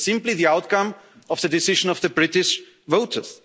that is simply the outcome of the decision of the British